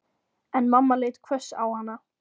En mamma leit hvöss á hana.